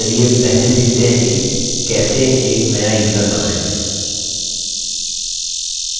चलिए पहले सीखते हैं की कैसे एक नया यूज़र बनाएँ